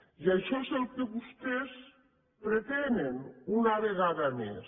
i això és el que vostès pretenen una vegada més